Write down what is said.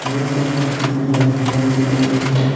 ये तो सर किसी रेस्टोरेंट की लग रही है।